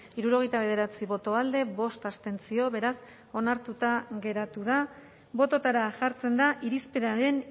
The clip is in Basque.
hirurogeita bederatzi boto alde bost abstentzio beraz onartuta geratu da bototara jartzen da irizpenaren